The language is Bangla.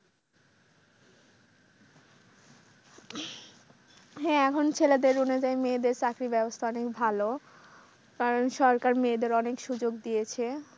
হ্যাঁ এখন ছেলেদের অনুযায়ী মেয়েদের চাকরির ব্যবস্থা অনেক ভালো। কারণ সরকার মেয়েদের অনেক সুযোগ দিয়েছে।